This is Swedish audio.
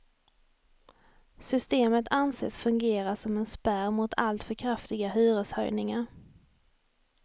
Systemet anses fungera som en spärr mot alltför kraftiga hyreshöjningar.